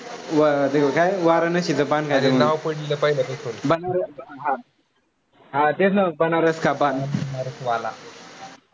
हां तेच ना बनारस का पान, पान बनारस वाला